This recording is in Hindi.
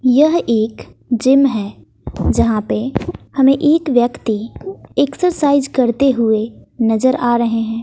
यह एक जिम है जहां पे हमें एक व्यक्ति एक्सरसाइज करते हुए नजर आ रहे हैं।